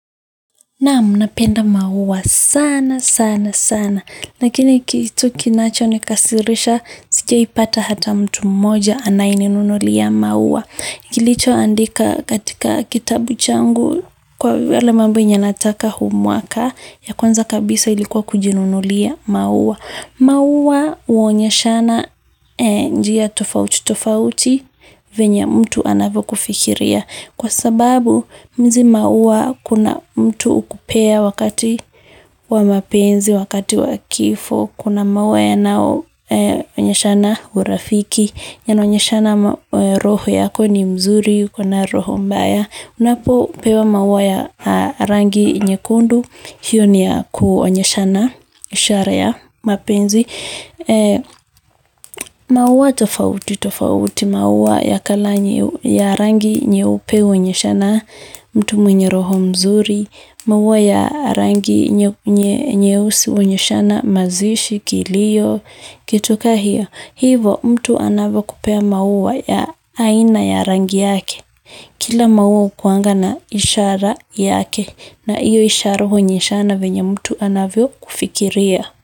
Naam, napenda maua sana, sana, sana. Lakini kitu kinacho nikasirisha, sijaipata hata mtu mmoja anayeninunulia maua. Kilicho andika katika kitabu changu kwa yale mambo yenye nataka huu mwaka, ya kwanza kabisa ilikuwa kujinunulia maua. Maua huonyeshana njia tofauti tofauti venye mtu anavyokufikiria. Kwa sababu hizi maua kuna mtu hukupea wakati wa mapenzi wakati wa kifo kuna maua yanaonyeshana urafiki roho yako ni mzuri uko na roho mbaya unapo pewa maua ya rangi nye kundu, hiyo ni ya kuonyeshana, ishara ya mapenzi. Maua tofauti, tofauti. Maua ya kala nyi ya rangi nyeupe huonyeshana, mtu mwenye roho mzuri. Maua ya rangi nyeusi huonyeshana mazishi kilio kitu kama hiyo hivo, mtu anavyokupea maua ya aina ya rangi yake. Kila maua hukuanga na ishara yake na hiyo ishara huonyeshana vyenye mtu anavyokufikiria.